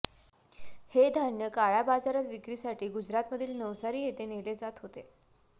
हे धान्य काळ्या बाजारात विक्रीसाठी गुजरातमधील नवसारी येथे नेले जात होते